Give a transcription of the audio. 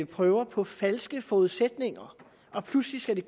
prøver på falske forudsætninger for pludselig skal de